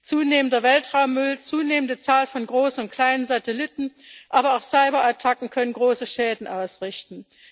Zunehmender Weltraummüll, eine zunehmende Zahl von großen und kleinen Satelliten, aber auch Cyberattacken können große Schäden ausrichten.